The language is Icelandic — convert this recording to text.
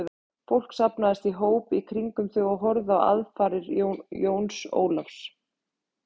Fólk safnaðist í hóp í kringum þau og horfði á aðfarir Jóns Ólafs.